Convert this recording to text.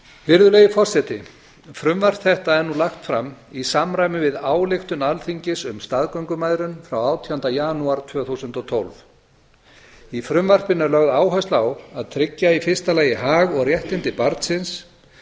virðulegi forseti frumvarp þetta er nú lagt fram í samræmi við ályktun alþingis um staðgöngumæðrun frá átjándu janúar tvö þúsund og tólf í frumvarpinu er lögð áhersla á að tryggja í fyrsta lagi hag og réttindi barnsins